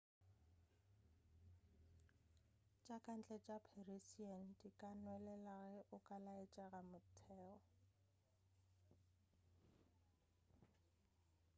tša kantle tša parisian di ka nwelela ge o ka laetša motheo